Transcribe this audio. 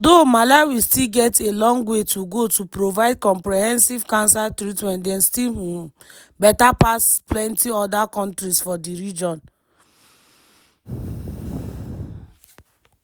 although malawi still get a long way to go to provide comprehensive cancer treatment dem still um better pass plenty oda kontris for di region.